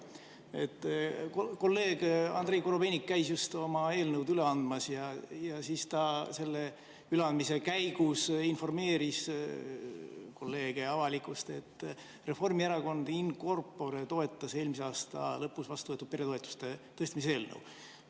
Kolleeg Andrei Korobeinik käis just oma eelnõu üle andmas ja selle üleandmise käigus ta informeeris kolleege ja avalikkust, et Reformierakond in corpore toetas eelmise aasta lõpus vastu võetud peretoetuste tõstmise eelnõu.